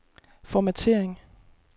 formattering